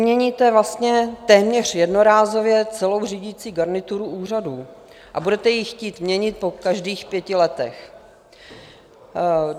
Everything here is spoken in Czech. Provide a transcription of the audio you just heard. Vyměníte vlastně téměř jednorázově celou řídící garnituru úřadů a budete jí chtít měnit po každých pěti letech.